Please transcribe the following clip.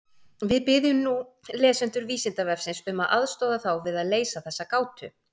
Við biðjum nú lesendur Vísindavefsins um að aðstoða þá við að leysa þessa gátu.